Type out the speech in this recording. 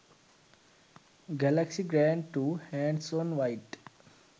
galaxy grand2 hands on white